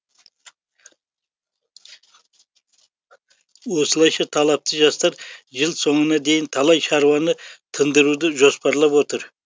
осылайша талапты жастар жыл соңына дейін талай шаруаны тындыруды жоспарлап отыр